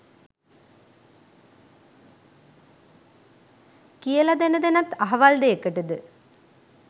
කියල දැන දැනත් අහවල් දෙයකටද